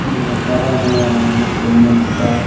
मसाला बना रहे है सेरमेंट का --